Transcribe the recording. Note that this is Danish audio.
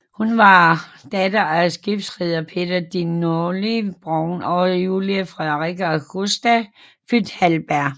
Hun var datter af skibsreder Peter de Nully Brown og Julie Frederikke Augusta født Halberg